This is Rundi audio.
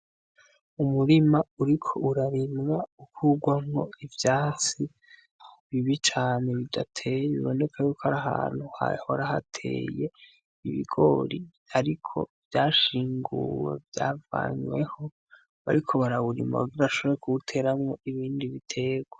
Umurima uriko urarimwa ukurwamwo ivyatsi bibi cane bidateye biboneka ko ari ahantu hahora hateye ibigori ariko vyashinguwe vyavanweho bariko barawurima kugira bashobore kuwuteramwo ibindi biterwa.